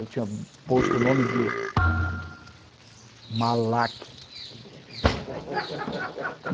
Eu tinha posto o nome de... Malac.